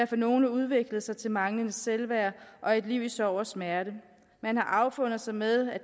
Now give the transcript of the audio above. for nogle udviklet sig til manglende selvværd og et liv i sorg og smerte man har affundet sig med